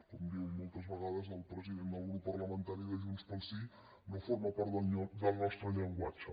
com diu moltes vegades el president del grup parlamentari de junts pel sí no forma part del nostre llenguatge